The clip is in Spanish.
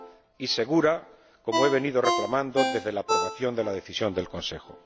y segura, como he venido reclamando desde la aprobación de la Decisión del Consejo.